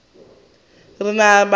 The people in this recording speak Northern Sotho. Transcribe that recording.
re na le bana ba